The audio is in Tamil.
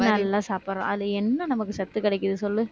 நல்லா சாப்பிடுறோம் அதுல என்ன நமக்கு சத்து கிடைக்குது சொல்லு